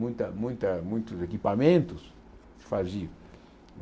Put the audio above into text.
Muita muita muitos equipamentos se faziam.